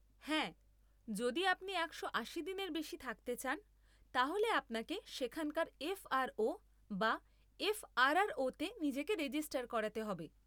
হ্যাঁ, যদি আপনি একশো আশি দিনের বেশি থাকতে চান তাহলে আপনাকে সেখানকার এফ আর ও বা এফ আর আর ও তে নিজেকে রেজিস্টার করাতে হবে।